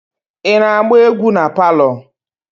Ị na-agba egwu palọ?